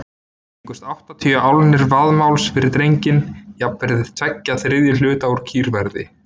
Fengust áttatíu álnir vaðmáls fyrir drenginn, jafnvirði tveggja þriðju hluta úr kýrverði.